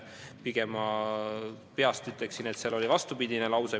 Pigem – ma praegu peast ütlen – oli seal vastupidine lause.